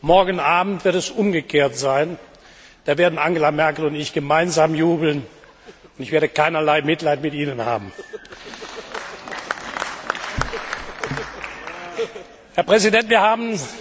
Morgen Abend wird es umgekehrt sein, dann werden Angela Merkel und ich gemeinsam jubeln, und ich werde keinerlei Mitleid mit Ihnen haben.